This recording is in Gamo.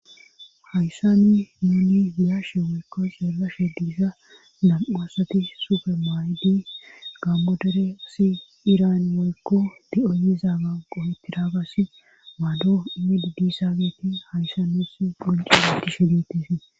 Hayssa ni muuli yaashe woykko sergashe diissa nam'asati sufe maayidi gammodere asi iran woykko de'o yizaaga qohetidaagasi maaddo immidi diissaageti hayssanes qonci lotishe geettise.